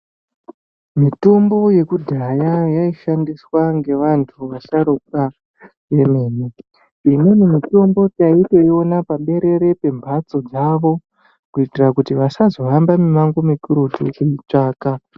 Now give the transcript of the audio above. Mitombo yekudhaya yaishandiswa ngevantu vasharukwa emene. Imweni mitombo taitoiona pa berere pembatso dzavo kuitira kuti vasazo hamba mimango mikurutu vechimutsvaka.